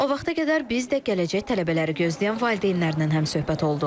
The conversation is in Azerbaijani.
O vaxta qədər biz də gələcək tələbələri gözləyən valideynlərdən həmsöhbət olduq.